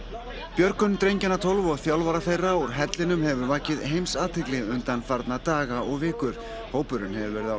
björgun drengjanna tólf og þjálfara þeirra úr hellinum hefur vakið heimsathygli undanfarna daga og vikur hópurinn hefur verið á